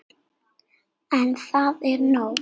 En það var nóg.